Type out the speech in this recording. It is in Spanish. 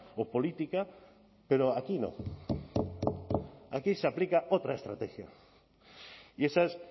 o política pero aquí no aquí se aplica otra estrategia y esa es